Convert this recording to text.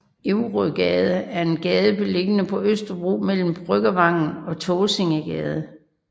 Ourøgade er en gade beliggende på Østerbro mellem Bryggervangen og Tåsingegade